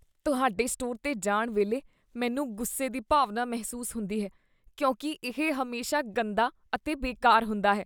ਤੁਹਾਡੇ ਸਟੋਰ 'ਤੇ ਜਾਣ ਵੇਲੇ ਮੈਨੂੰ ਗੁੱਸੇ ਦੀ ਭਾਵਨਾ ਮਹਿਸੂਸ ਹੁੰਦੀ ਹੈ ਕਿਉਂਕਿ ਇਹ ਹਮੇਸ਼ਾ ਗੰਦਾ ਅਤੇ ਬੇਕਾਰ ਹੁੰਦਾ ਹੈ।